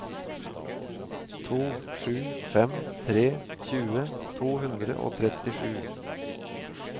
to sju fem tre tjue to hundre og trettisju